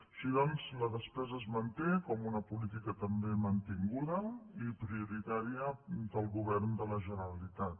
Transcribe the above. així doncs la despesa es manté com una política també mantinguda i prioritària del govern de la generalitat